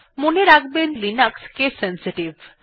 মনে রাখবেন যে লিনাক্স কেস সেনসিটিভ